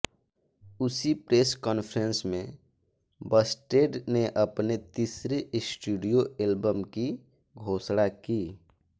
उसी press conference में Busted ने अपने तीसरे स्टूडियो एल्बम की घोषणा की